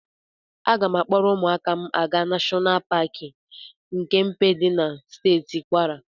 Aga m akpọ ụmụaka m aga Nashọnal Paki Kempe dị na Steeti Kwara.